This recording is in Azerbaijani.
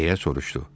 Deyə soruşdu.